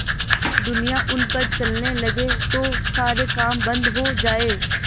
दुनिया उन पर चलने लगे तो सारे काम बन्द हो जाएँ